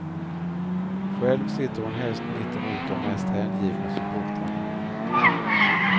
Själv sitter hon helst mittemot de mest hängivna supportrarna.